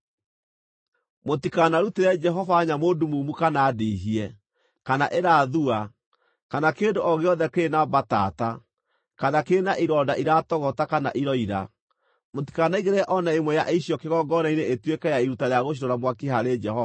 Mũtikanarutĩre Jehova nyamũ ndumumu kana ndihie, kana ĩrathua, kana kĩndũ o gĩothe kĩrĩ na mbatata, kana kĩrĩ na ironda iratogota kana iroira. Mũtikanaigĩrĩre o na ĩmwe ya icio kĩgongona-inĩ ĩtuĩke ya iruta rĩa gũcinwo na mwaki harĩ Jehova.